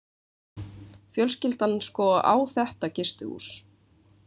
Fjölskyldan sko á þetta gistihús.